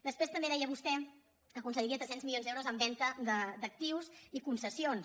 després també deia vostè que aconseguiria tres cents milions d’euros en venda d’actius i concessions